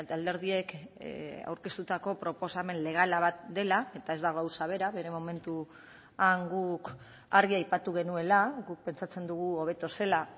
alderdiek aurkeztutako proposamen legala bat dela eta ez da gauza bera bere momentuan guk argi aipatu genuela guk pentsatzen dugu hobeto zela